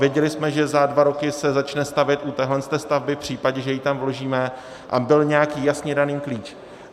Věděli jsme, že za dva roky se začne stavět u téhle stavby v případě, že ji tam vložíme, a byl nějaký jasně daný klíč.